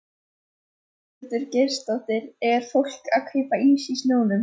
Ingveldur Geirsdóttir: Er fólk að kaupa ís í snjónum?